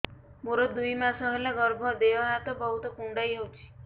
ମୋର ଦୁଇ ମାସ ହେଲା ଗର୍ଭ ଦେହ ହାତ ବହୁତ କୁଣ୍ଡାଇ ହଉଚି